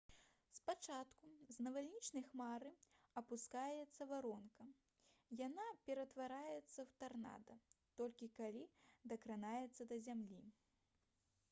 спачатку з навальнічнай хмары апускаецца варонка. яна ператвараецца ў «тарнада» толькі калі дакранаецца да зямлі